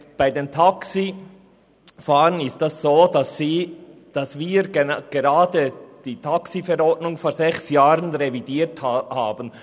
Bei den Taxifahrern ist es so, dass wir die TaxiV vor sechs Jahren revidiert haben.